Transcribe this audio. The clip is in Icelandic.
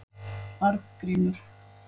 Arngrímur